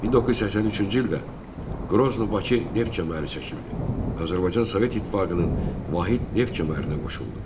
1983-cü ildə Qrozno-Bakı neft kəməri çəkildi və Azərbaycan Sovet İttifaqının vahid neft kəmərinə qoşuldu.